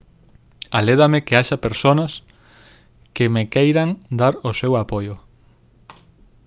alédame que haxa persoas que me queiran dar o seu apoio